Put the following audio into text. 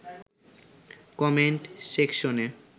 comment সেকশনে